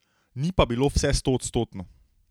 Ni pa bilo vse stoodstotno.